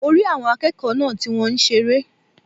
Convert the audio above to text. Mo rí àwọn akéèkòó náà ti wón seré